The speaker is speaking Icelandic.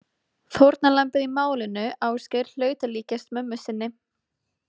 Fórnarlambið í málinu Ásgeir hlaut að líkjast mömmu sinni.